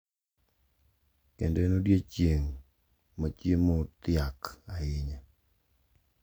Kendo en odiechieng` machiemo othiak ahinya.